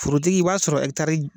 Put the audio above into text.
Forotigi, i b'a sɔrɔ ɛkitari